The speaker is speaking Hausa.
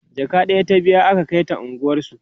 jaka ɗaya ta biya aka Kai ta unguwansu